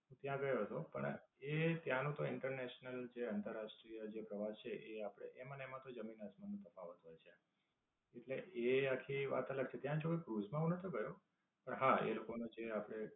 ત્યાં ગયો હતો પણ એ ત્યાંનો તો international જે આંતરરાષ્ટ્રીય પ્રવાસ છે એ આપડે એમાં તો જમીન આસમાન નો તફાવત હોય છે. એટલે એ આખી વાત અલગ છે. ત્યાં જે એ ક્રુઝ માં હું નતો ગયો પણ હા એ લોકો નું ને આપડે